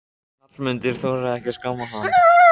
Hallmundur þorir ekki að skamma hann.